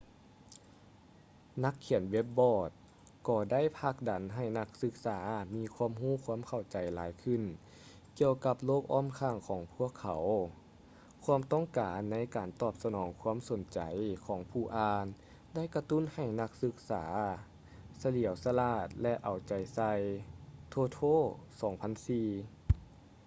ນັກຂຽນເວບບຼອກ ກໍໄດ້ຜັກດັນໃຫ້ນັກສຶກສາມີຄວາມຮູ້ຄວາມເຂົ້າໃຈຫຼາຍຂຶ້ນ ກ່ຽວກັບໂລກອ້ອມຂ້າງພວກເຂົາ.” ຄວາມຕ້ອງການໃນການຕອບສະໜອງຄວາມສົນໃຈຂອງຜູ້ອ່ານ ໄດ້ກະຕຸ້ນໃຫ້ນັກສຶກສາ ສະຫຼຽວສະຫຼາດ ແລະ ເອົາໃຈໃສ່ toto 2004